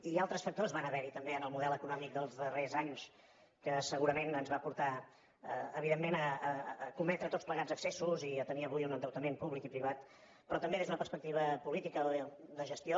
i altres factors van haver hi també en el model econòmic dels darrers anys que segurament ens va portar evidentment a cometre tots plegats excessos i a tenir avui un endeutament públic i privat però també des d’una perspectiva política o de gestió